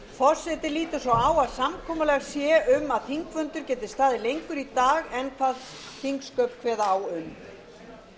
forseti lítur svo á að samkomulag sé um að þingfundur geti staðið lengur í dag en þingsköp kveða á um